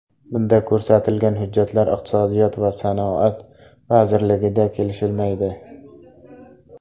Bunda ko‘rsatilgan hujjatlar Iqtisodiyot va sanoat vazirligida kelishilmaydi.